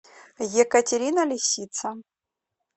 екатерина лисица